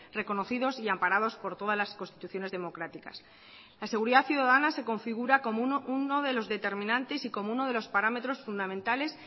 reconocidos y amparados por todas las constituciones democráticas la seguridad ciudadana se configura como uno de los determinantes y como uno de los parámetros fundamentales